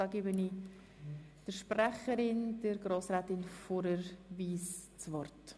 Ich gebe der Sprecherin der SiK-Minderheit, Grossrätin Fuhrer, das Wort.